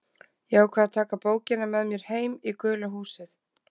Ég ákvað að taka bókina með mér heim í gula húsið.